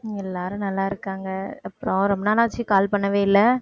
எல்லாரும் நல்லா இருக்காங்க. அப்புறம் ரொம்ப நாளாச்சு call பண்ணவே இல்லை